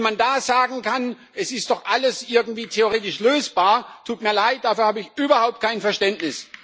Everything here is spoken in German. Wie man da sagen kann Es ist doch alles irgendwie theoretisch lösbar. es tut mir leid, dafür habe ich überhaupt kein Verständnis.